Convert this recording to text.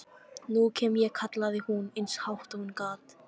Nú kem ég, kallaði hún eins hátt og hún gat.